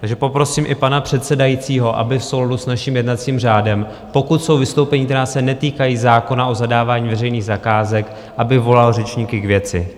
Takže poprosím i pana předsedajícího, aby v souladu s naším jednacím řádem, pokud jsou vystoupení, která se netýkají zákona o zadávání veřejných zakázek, aby volal řečníky k věci.